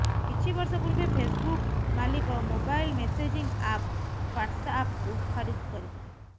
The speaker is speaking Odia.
କିଛି ବର୍ଷ ପୂର୍ବେ ଫେସବୁକ୍ ମାଲିକ ମୋବାଇଲ୍ ମେସେଜିଂ ଆପ୍ ହ୍ବାଟସ୍ଆପ୍କୁ ଖରିଦ କରିଥିଲେ